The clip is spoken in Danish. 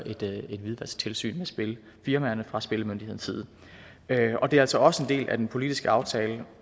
et hvidvasktilsyn af spilfirmaerne fra spillemyndighedens side det er altså også en del af den politiske aftale